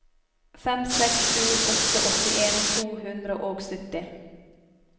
fem seks sju åtte åttien to hundre og sytti